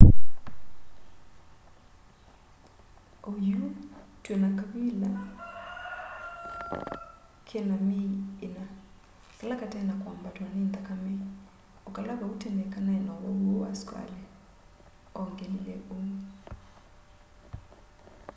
oyu twina kavila kena myei 4 kala kate na kwambatwa ni nthakame o kala vau tene kanai na uwau uu wa sukali ongelile uu